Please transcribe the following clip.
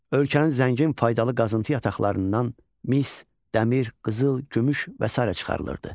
Ölkənin zəngin faydalı qazıntı yataqlarından mis, dəmir, qızıl, gümüş və sair çıxarılırdı.